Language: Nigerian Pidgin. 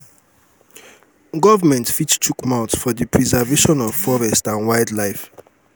government fit chook mouth for di preservation of forest and wild life